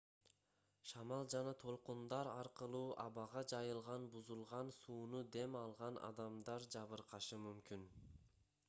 шамал жана толкундар аркылуу абага жайылган бузулган сууну дем алган адамдар жабыркашы мүмкүн